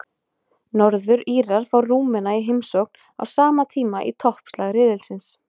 Norður-Írar fá Rúmena í heimsókn á sama tíma í toppslag riðilsins.